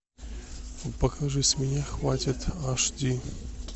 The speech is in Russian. покажи с меня хватит аш ди